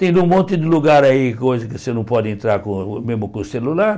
Tendo um monte de lugar aí, coisa que você não pode entrar, com mesmo com o celular.